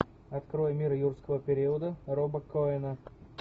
открой мир юрского периода роба коэна